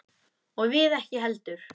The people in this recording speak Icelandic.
Og við ekki heldur.